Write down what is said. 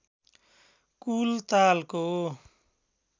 कुल तालको